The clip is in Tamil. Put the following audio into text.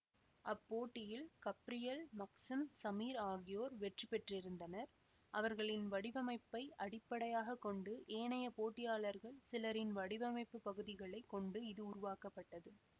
அப்போட்டியில் கப்ரியல் மக்சிம் சமிர் ஆகியோர் வெற்றிபெற்றிருந்தனர் அவர்களின் வடிவமைப்பை அடிப்படையாக கொண்டு ஏனைய போட்டியாளர்கள் சிலரின் வடிவமைப்பு பகுதிகளை கொண்டு இது உருவாக்கப்பட்டது